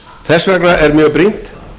þess vegna er mjög brýnt